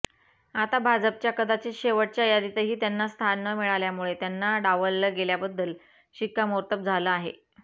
आता भाजपच्या कदाचित शेवटच्या यादीतही त्यांना स्थान न मिळाल्यामुळे त्यांना डावललं गेल्याबद्दल शिक्कामोर्तब झालं आहे